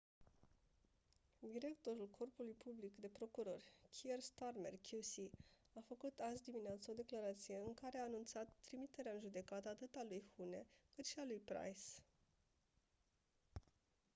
directorul corpului public de procurori kier starmer qc a făcut azi-dimineață o declarație în care a anunțat trimiterea în judecată atât a lui huhne cât și a lui pryce